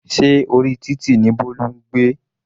Se orí títì ní Bolu ń gbé?